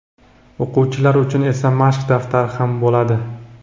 o‘quvchilar uchun esa "Mashq daftari" ham bo‘ladi.